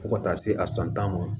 Fo ka taa se a san tan ma